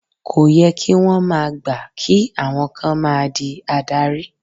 Kó yẹ kí wón máa gbà kí àwọn kan máa di adarí.